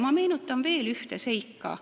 Ma meenutan veel ühte seika.